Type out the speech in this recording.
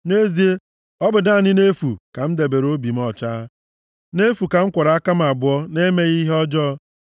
Nʼezie, ọ bụ naanị nʼefu ka m debere obi m ọcha, nʼefu ka m kwọrọ aka + 73:13 Biri ndụ na-enweghị ntụpọ m abụọ nʼemeghị ihe ọjọọ.